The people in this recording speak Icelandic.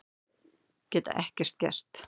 Geta ekkert gert.